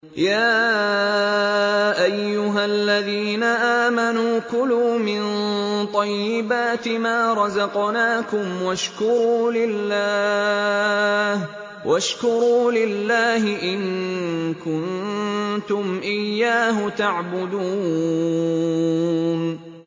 يَا أَيُّهَا الَّذِينَ آمَنُوا كُلُوا مِن طَيِّبَاتِ مَا رَزَقْنَاكُمْ وَاشْكُرُوا لِلَّهِ إِن كُنتُمْ إِيَّاهُ تَعْبُدُونَ